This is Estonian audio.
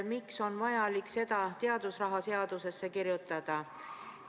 Miks on siis vaja seda teadusraha seadusesse kirjutada?